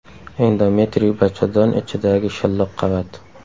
Endometriy bachadon ichidagi shilliq qavat.